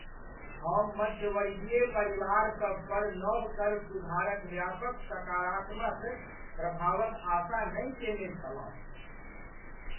हम मध्यवर्गीय परिवारसभ पर नव कर सुधारक व्यापक सकारात्मक प्रभावक आशा नहि केने छलहुँ।